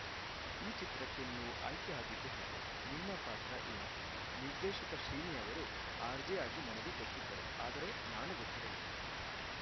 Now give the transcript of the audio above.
ಈ ಚಿತ್ರಕ್ಕೆ ನೀವು ಆಯ್ಕೆ ಆಗಿದ್ದು ಹೇಗೆ ನಿಮ್ಮ ಪಾತ್ರ ಏನು ನಿರ್ದೇಶಕ ಶ್ರೀನಿ ಅವರು ಆರ್‌ಜೆ ಆಗಿ ನನಗೆ ಗೊತ್ತಿದ್ದರು ಆದರೆ ನಾನು ಗೊತ್ತಿರಲಿಲ್ಲ